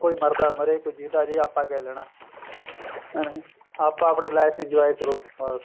ਕੋਈ ਮਰਦਾ ਮਰੇ ਕੋਈ ਜਿੰਦਾ ਜੀਵੇ ਆਪਾਂ ਕਿਆ ਲੈਣਾ ਕੇ ਨਹੀਂ ਆਪਾਂ ਆਪਣੀ life enjoy ਕਰੋ ਬੱਸ